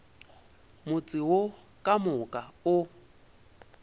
motse wo ka moka o